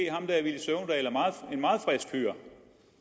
en meget frisk fyr